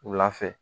Wula fɛ